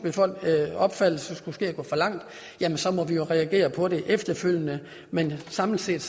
opfattelse skulle gå for langt så må vi reagere på det efterfølgende men samlet set